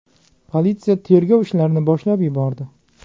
Politsiya tergov ishlarini boshlab yubordi.